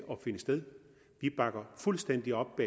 at finde sted vi bakker fuldstændig op